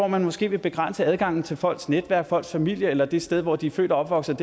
man måske vil begrænse adgangen til folks netværk folks familie eller det sted hvor de er født og opvokset